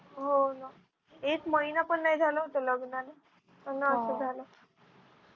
हो ना एक महिना पण नाही झाला होता लग्नाला पुन्हा असं झालं